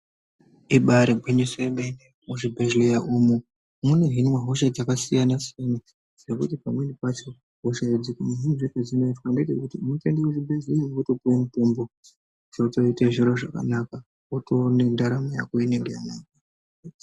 Ibaari gwinyiso remene muzvibhedhleya umu munohinwa hosha dzakasiyana siyana dzekuti pamweni pacho hosha idzi muhinirwe wedzinoita ngewekuti unotoenda kuchibhedhleya wotopuwa mutombo wotoite zviro zvakanaka wotoona ndaramo yako inenge yanaka.